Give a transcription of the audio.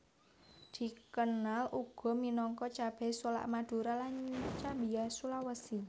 Dikenal uga minangka cabai solak Madura lan cabia Sulawesi